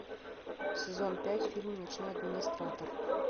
сезон пять фильм ночной администратор